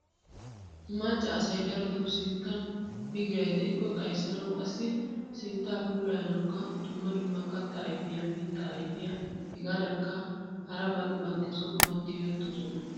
Macca asay darotto sinttan bigiray deikko xayssanawu qassi sintta puulayanawukka dumma dumma katta ayfiyaa, mittaa ayfiya hegadankka haraban bantta som'uwaa tiyettosona.